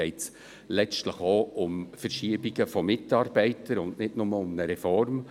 Denn letztlich geht es auch um Verschiebungen von Mitarbeitern, und nicht nur um eine Reform.